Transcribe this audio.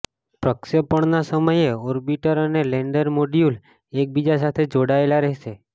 પ્રક્ષેપણના સમયે ઑર્બિટર અને lander module એક બીજા સાથે જોડાયેલા રહેશે